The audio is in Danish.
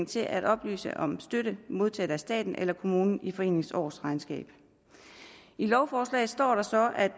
til at oplyse om støtte modtaget af staten eller kommunen i foreningens årsregnskab i lovforslaget står der så at